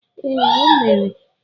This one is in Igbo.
Ee, o mere